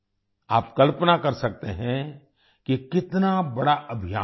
आप कल्पना कर सकते हैं कि कितना बड़ा अभियान है